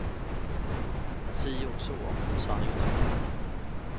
Si och så, om sanningen ska fram.